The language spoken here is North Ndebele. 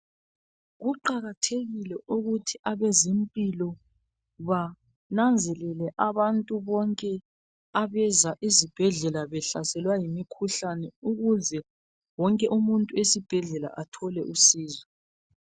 Kuqakathekile ukuthi abezempilo bananzelele abantu bonke abeza esibhedlela bahlaselwe yimikhuhlane ukuze wonke umuntu osesibhedlela athole usizo.